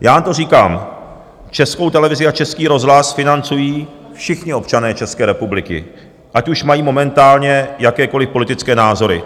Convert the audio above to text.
Já na to říkám: Českou televizi a Český rozhlas financují všichni občané České republiky, ať už mají momentálně jakékoliv politické názory.